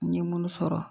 N ye munnu sɔrɔ